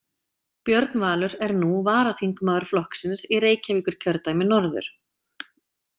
Björn Valur er nú varaþingmaður flokksins í Reykjavíkurkjördæmi norður.